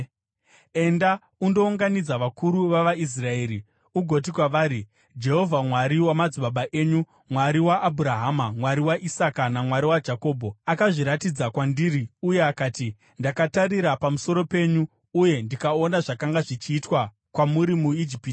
“Enda undounganidza vakuru vavaIsraeri ugoti kwavari, ‘Jehovha, Mwari wamadzibaba enyu, Mwari waAbhurahama, Mwari waIsaka, naMwari waJakobho, akazviratidza kwandiri uye akati, “Ndakatarira pamusoro penyu uye ndikaona zvakanga zvichiitwa kwamuri muIjipiti.